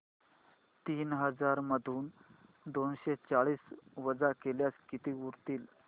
तीन हजार मधून दोनशे चाळीस वजा केल्यास किती उरतील